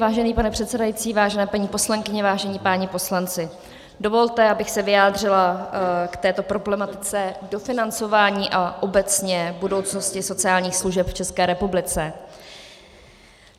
Vážený pane předsedající, vážené paní poslankyně, vážení páni poslanci, dovolte, abych se vyjádřila k této problematice dofinancování a obecně budoucnosti sociálních služeb v České republice.